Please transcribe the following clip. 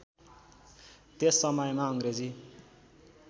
त्यस समयमा अङ्ग्रेजी